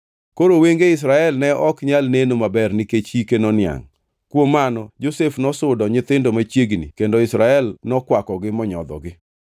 Koro wenge Israel ne ok nyal neno maber nikech hike noniangʼ. Kuom mano Josef nosudo nyithindo machiegni kendo Israel nokwakogi monyodhogi.